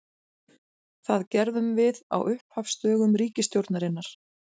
Það gerðum við á upphafsdögum ríkisstjórnarinnar.